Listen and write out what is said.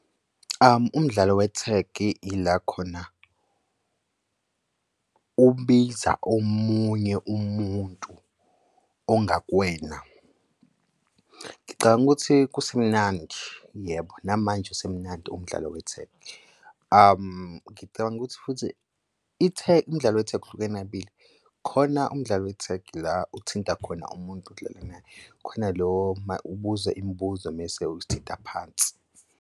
Umdlalo wethegi ila khona ubiza omunye umuntu ongakwena. Ngicabanga ukuthi usemnandi, yebo, namanje usemnandi umdlalo wethegi. Ngicabanga ukuthi futhi umdlalo wethegi uhlukene kabili, khona umdlalo wethegi la uthinta khona umuntu odlala naye, khona lo ubuze imibuzo mese uthinta phansi.